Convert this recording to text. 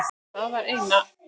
Það var eina.